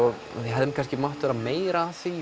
hefði kannski mátt vera meira af því